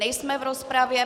Nejsme v rozpravě.